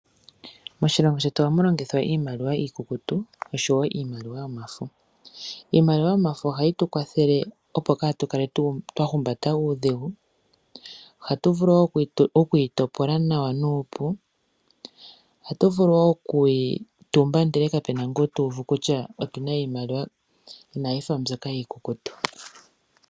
Moshilongo shetu ohamu longithwa iimaliwa iikukutu oshowo iimaliwa yomafo. Iimaliwa yomafo ohayi tu kwathele opo katu kale twa humbata uudhigu. Ohatu vulu wo okuyi topola nawa nuupu, ohatu vulu wo okuyi tumba ndele kapena ngu ta uvu kutya otuna iimaliwa, inayi fa mbyoka yiikukutu.